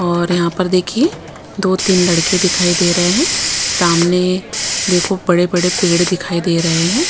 और यहाँ पर देखिए दो-तीन लड़के दिखाई दे रहे हैं सामने देखो बड़े-बड़े पेड़ दिखाई दे रहे हैं।